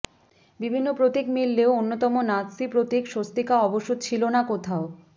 বিভিন্ন প্রতীক মিললেও অন্যতম নাৎসি প্রতীক স্বস্তিকা অবশ্য ছিল না কোথাও